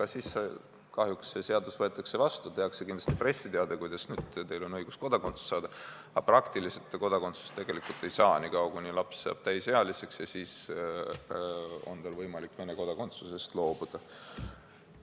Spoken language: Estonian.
Aga siis kahjuks on nii, et see seadus võetakse vastu, tehakse kindlasti pressiteade, kuidas tal on õigus kodakondsust saada, aga praktiliselt ta kodakondsust ei saa, nii kaua kuni laps saab täisealiseks ja siis on tal võimalik Vene kodakondsusest loobuda.